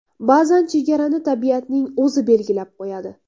Ba’zan chegarani tabiatning o‘zi belgilab qo‘yadi.